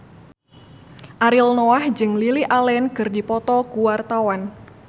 Ariel Noah jeung Lily Allen keur dipoto ku wartawan